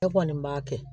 Ne kɔni b'a kɛ